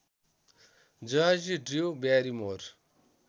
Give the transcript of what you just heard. Jersey Drew Barrymore